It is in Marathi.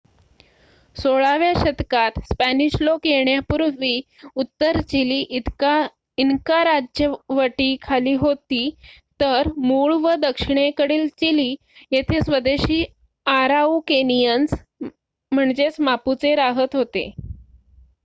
16 व्या शतकात स्पॅनिश लोक येण्यापूर्वी उत्तर चिली इनका राज्यवटीखाली होती तर मूळ व दक्षिणेकडील चिली येथे स्वदेशी आराउकेनिअन्स मापुचे रहात होते